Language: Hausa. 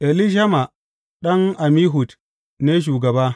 Elishama ɗan Ammihud ne shugaba.